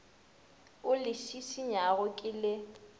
o le šišinyago ke le